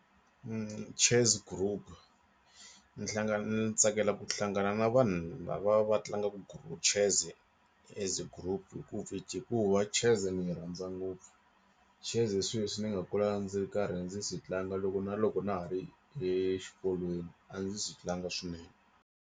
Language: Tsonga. Chess group ni hlangana ni tsakela ku hlangana na vanhu lava va tlangaku group chess as group hikuva chess ni yi rhandza ngopfu chess swi leswi ni nga kula ndzi karhi ndzi swi tlanga loko na loko na ha ri exikolweni a ndzi swi tlanga swinene.